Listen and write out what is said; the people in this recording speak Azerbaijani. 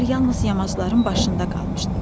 Qar yalnız yamacların başında qalmışdı.